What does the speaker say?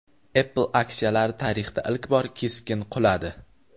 Apple aksiyalari tarixda ilk bor keskin quladi.